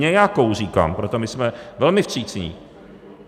Nějakou říkám, protože my jsme velmi vstřícní.